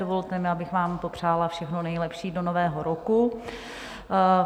Dovolte mi, abych vám popřála všechno nejlepší do nového roku.